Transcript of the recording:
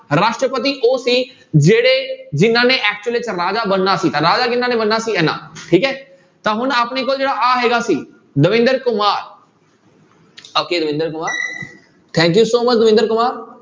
ਰਾਸ਼ਟਰਪਤੀ ਉਹ ਸੀ ਜਿਹੜੇ ਜਿਹਨਾਂ ਨੇ actually 'ਚ ਰਾਜਾ ਬਣਨਾ ਸੀ ਤਾਂ ਰਾਜਾ ਕਿਹਨਾਂ ਨੇ ਬਣਨਾ ਸੀ ਇਹਨਾਂ ਠੀਕ ਹੈ ਤਾਂ ਹੁਣ ਆਪਣੀ ਕੋਲ ਜਿਹੜਾ ਆਹ ਹੈਗਾ ਸੀ Davinder Kumar okay Davinder Kumar thank you so much Davinder Kumar